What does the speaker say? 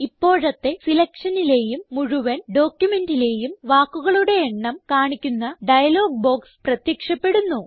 ഇപ്പോഴത്തെ സിലക്ഷനിലേയും മുഴുവൻ ഡോക്യുമെന്റിലേയും വാക്കുകളുടെ എണ്ണം കാണിക്കുന്ന ഡയലോഗ് ബോക്സ് പ്രത്യക്ഷപ്പെടുന്നു